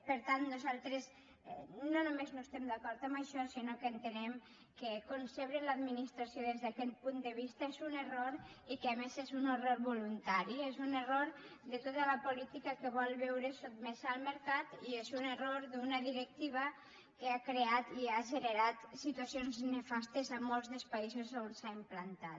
per tant nosaltres no només no estem d’acord amb això sinó que entenem que concebre l’administració des d’aquest punt de vista és un error i que a més és un error voluntari és un error de tota la política que vol veure’s sotmesa al mercat i és un error d’una directiva que ha creat i ha generat situa cions nefastes a molts dels països on s’ha implantat